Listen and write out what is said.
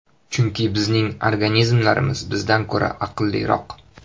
Chunki bizning organizmlarimiz bizdan ko‘ra aqlliroq.